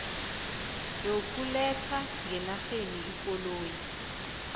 yokuletha ngenarheni ikoloyi